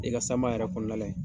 I ka sama yɛrɛ kɔnɔnala yen